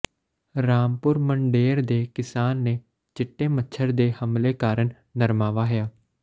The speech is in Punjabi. ਰਾਮਪੁਰ ਮੰਡੇਰ ਦੇ ਕਿਸਾਨ ਨੇ ਚਿੱਟੇ ਮੱਛਰ ਦੇ ਹਮਲੇ ਕਾਰਨ ਨਰਮਾਂ ਵਾਹਿਆ